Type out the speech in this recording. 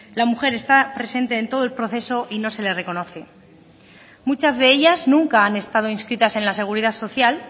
la mujer está presente en todo el proceso y no se reconoce muchas de ellas nunca han estado inscritas en la seguridad social